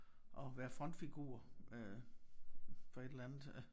At være frontfigur øh for et eller andet